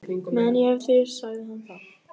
Meðan ég hef þig sagði hann þá.